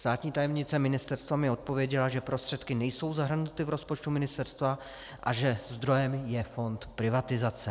Státní tajemnice ministerstva mi odpověděla, že prostředky nejsou zahrnuty v rozpočtu ministerstva a že zdrojem je Fond privatizace.